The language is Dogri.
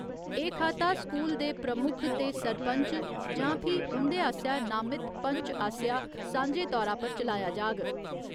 एह् खाता स्कूल दे प्रमुख ते सरपंच जां फ्ही उंदे आसेआ नामित पंच आसेआ सांझे तौरा पर चलाया जाग